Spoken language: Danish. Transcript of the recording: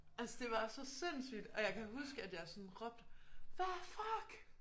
Altså det var så sindssygt og jeg kan huske at jeg sådan råbte hvad fuck!